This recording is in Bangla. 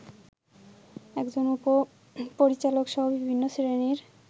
একজন উপ-পরিচালকসহ বিভিন্ন শ্রেণীর